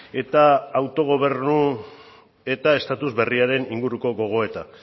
eta autogobernu eta estatus berriaren inguruko gogoeta